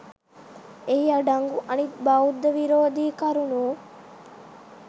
එහි අඩංගු අනික් බෞද්ධ විරෝධී කරුණු